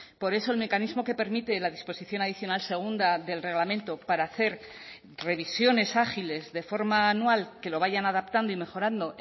por eso el mecanismo que permite la disposición adicional segunda del reglamento para hacer revisiones ágiles de forma anual que lo vayan adaptando y mejorando